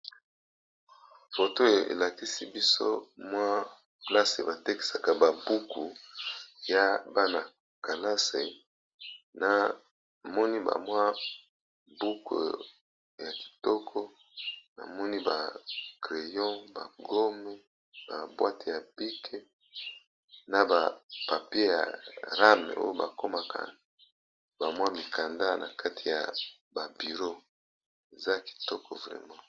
roto elakisi biso mwa plase batekisaka babuku ya bana kalase na moni bamwa buku ya kitoko na moni ba crayo bagone ba bwate ya pike na ba pape ya rame oyo bakomaka bamwa mikanda na kati ya babiro eza kitoko vrama